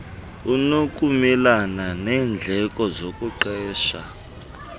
unokumelana neendleko zokuqesha